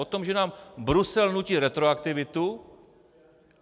O tom, že nám Brusel nutí retroaktivitu.